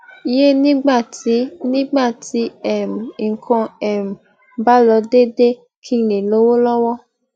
ye nígbà tí nígbà tí um nǹkan ò um bá lọ deede ki n le lowo lowo